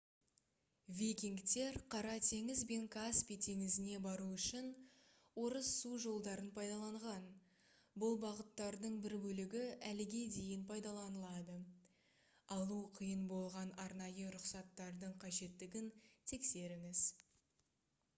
викингтер қара теңіз бен каспий теңізіне бару үшін орыс су жолдарын пайдаланған бұл бағыттардың бір бөлігі әліге дейін пайдаланылады алу қиын болған арнайы рұқсаттардың қажеттігін тексеріңіз